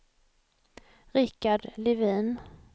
Rickard Levin